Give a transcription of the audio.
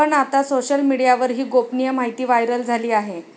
पण आता सोशल मीडियावर ही गोपनीय माहिती व्हायरल झाली आहे.